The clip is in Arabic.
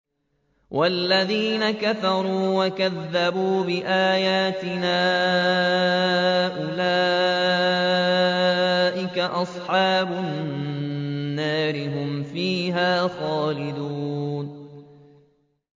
وَالَّذِينَ كَفَرُوا وَكَذَّبُوا بِآيَاتِنَا أُولَٰئِكَ أَصْحَابُ النَّارِ ۖ هُمْ فِيهَا خَالِدُونَ